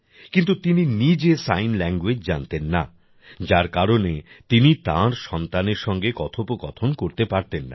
কিন্তু তিনি নিজে সাইন ল্যাংগুয়েজ জানতেন না যার কারণে তিনি তার সন্তানের সঙ্গে কথোপকথন করতে পারতেন না